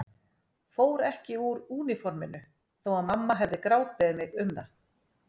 Fór ekki úr úniforminu þó að mamma hefði grátbeðið mig um það.